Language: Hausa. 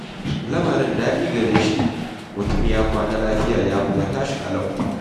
Lamarin daɗi gare shi, mutum ya kwana lafiya ya kuma tashi ƙalau.